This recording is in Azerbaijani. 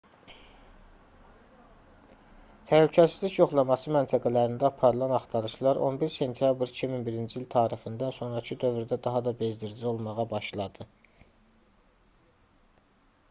təhlükəsizlik yoxlaması məntəqələrində aparılan axtarışlar 11 sentyabr 2001-ci il tarixindən sonrakı dövrdə daha da bezdirici olmağa başladı